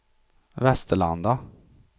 Västerlanda